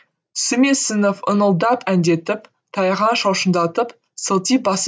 сүмесінов ыңылдап әндетіп таяғын шошаңдатып сылти басып